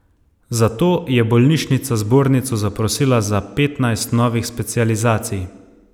Zato je bolnišnica zbornico zaprosila za petnajst novih specializacij.